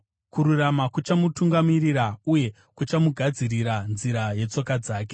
Kururama kuchamutungamirira, uye kuchamugadzirira nzira yetsoka dzake.